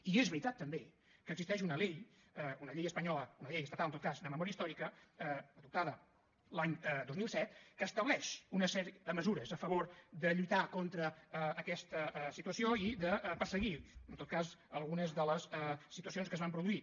i és veritat també que existeix una ley una llei espanyola una llei estatal en tot cas de memòria històrica adoptada l’any dos mil set que estableix una sèrie de mesures a favor de lluitar contra aquesta situació i de perseguir en tot cas algunes de les situacions que es van produir